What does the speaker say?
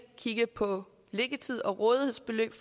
kigge på liggetid og rådighedsbeløb